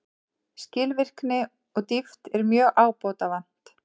Skilvirkni og dýpt er mjög ábótavant